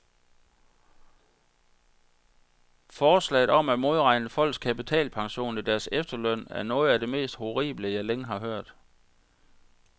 Forslaget om at modregne folks kapitalpension i deres efterløn, er noget af det mest horrible, jeg længe har hørt.